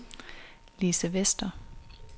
Lise Vester